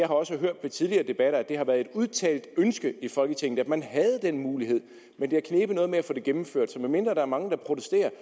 også hørt ved tidligere debatter at det har været et udtalt ønske i folketinget at man havde den mulighed men det har knebet noget med at få det gennemført så medmindre der er mange der protesterer